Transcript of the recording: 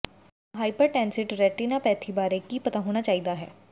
ਤੁਹਾਨੂੰ hypertensive retinopathy ਬਾਰੇ ਕੀ ਪਤਾ ਹੋਣਾ ਚਾਹੀਦਾ ਹੈ